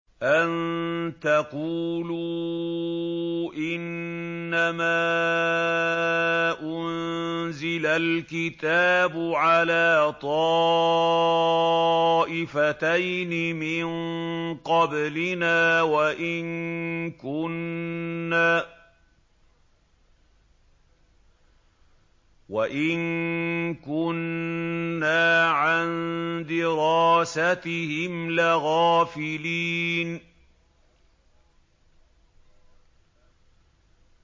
أَن تَقُولُوا إِنَّمَا أُنزِلَ الْكِتَابُ عَلَىٰ طَائِفَتَيْنِ مِن قَبْلِنَا وَإِن كُنَّا عَن دِرَاسَتِهِمْ لَغَافِلِينَ